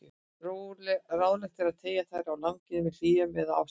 Ráðlegt er að teygja þær á langinn með hléum eða ástaratlotum.